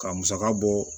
Ka musaka bɔ